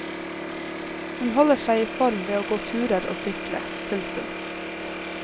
Hun holder seg i form ved å gå turer og sykle. punktum